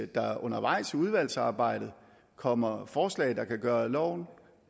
der undervejs i udvalgsarbejdet kommer forslag der kan gøre loven